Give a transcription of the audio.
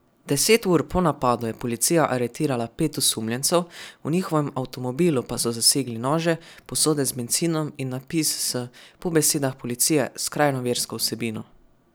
Deset ur po napadu je policija aretirala pet osumljencev, v njihovem avtomobilu pa so zasegli nože, posode z bencinom in napis s, po besedah policije, skrajno versko vsebino.